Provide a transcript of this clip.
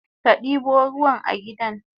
Kadibo ruwa a gidan?